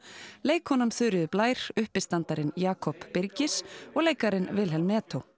leikkonan Þuríður Blær Jakob Birgis og leikarinn Vilhelm